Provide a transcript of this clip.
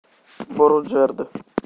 боруджерд